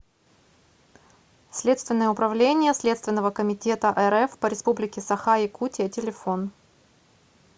следственное управление следственного комитета рф по республике саха якутия телефон